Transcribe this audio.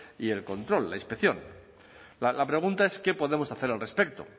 y el control la inspección la pregunta es qué podemos hacer al respecto